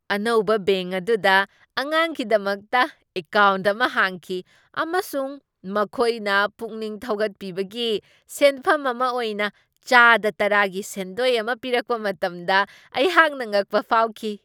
ꯑꯅꯧꯕ ꯕꯦꯡꯛ ꯑꯗꯨꯗ ꯑꯉꯥꯡꯒꯤꯗꯃꯛꯇ ꯑꯦꯀꯥꯎꯟꯠ ꯑꯃ ꯍꯥꯡꯈꯤ ꯑꯃꯁꯨꯡ ꯃꯈꯣꯏꯅ ꯄꯨꯛꯅꯤꯡ ꯊꯧꯒꯠꯄꯤꯕꯒꯤ ꯁꯦꯟꯐꯝ ꯑꯃ ꯑꯣꯏꯅ ꯆꯥꯗ ꯇꯔꯥꯒꯤ ꯁꯦꯟꯗꯣꯏ ꯑꯃ ꯄꯤꯔꯛꯄ ꯃꯇꯝꯗ ꯑꯩꯍꯥꯛꯅ ꯉꯛꯄ ꯐꯥꯎꯈꯤ꯫